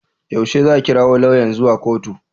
Yaushe za a kirawo lauyan zuwa kotu?